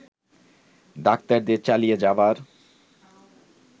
ডাক্তারদের চালিয়ে যাবার